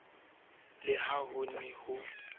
le ha ho ne ho